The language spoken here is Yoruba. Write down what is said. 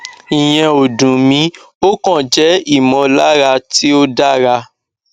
ìyẹn ò dùn mí ó kàn jẹ ìmọlára tí ò dáŕa